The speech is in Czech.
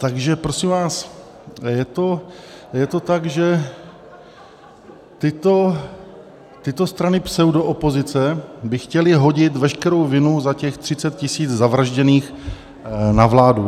Takže prosím vás, je to tak, že tyto strany pseudoopozice by chtěly hodit veškerou vinu za těch 30 000 zavražděných na vládu.